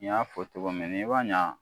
Nin y'a fɔ cɔgɔ min n'i ma ɲɛ